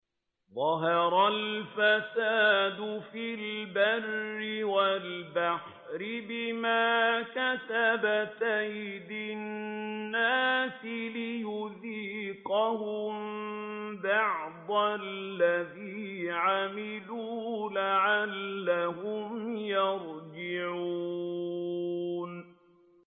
ظَهَرَ الْفَسَادُ فِي الْبَرِّ وَالْبَحْرِ بِمَا كَسَبَتْ أَيْدِي النَّاسِ لِيُذِيقَهُم بَعْضَ الَّذِي عَمِلُوا لَعَلَّهُمْ يَرْجِعُونَ